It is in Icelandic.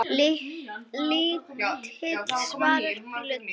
Lítill, svartur bíll.